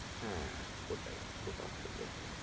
হ্যাঁ, ওটাই, ওটা করলেও ভালো হয়,